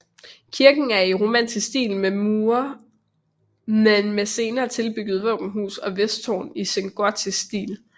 Kirken er i romansk stil men med senere tilbyggede våbenhus og vesttårn i sengotisk stil